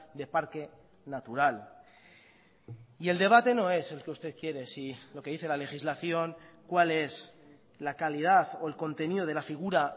de parque natural y el debate no es el que usted quiere si lo que dice la legislación cuál es la calidad o el contenido de la figura